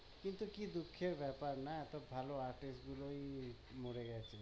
কিন্তু কি দুঃখের বেপার না এত ভালো artist গুলোই মরে গেছে